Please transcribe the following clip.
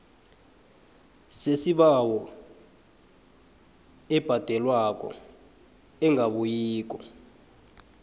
yesibawo ebhadelwako engabuyiko